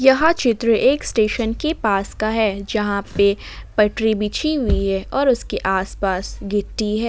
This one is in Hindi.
यह चित्र एक स्टेशन के पास का है जहां पे पटरी बिछी हुई है और उसके आसपास गिट्टी है।